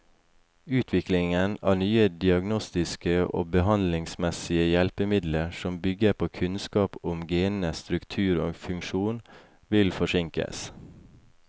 Utviklingen av nye diagnostiske og behandlingsmessige hjelpemidler som bygger på kunnskap om genenes struktur og funksjon, vil forsinkes.